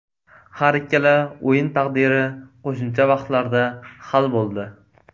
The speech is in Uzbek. Har ikkala o‘yin taqdiri qo‘shimcha vaqtlarda hal bo‘ldi.